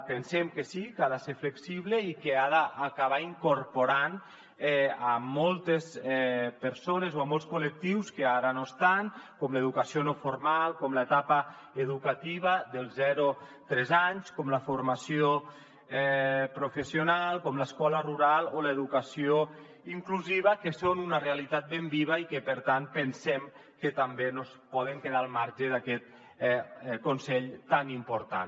pensem que sí que ha de ser flexible i que ha d’acabar incorporant moltes persones o molts col·lectius que ara no hi són com l’educació no formal com l’etapa educativa dels zero tres anys com la formació professional com l’escola rural o l’educació inclusiva que són una realitat ben viva i que per tant pensem que tampoc no es poden quedar al marge d’aquest consell tan important